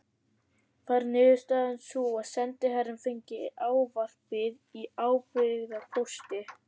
Varð niðurstaðan sú að sendiherrann fengi ávarpið í ábyrgðarpósti.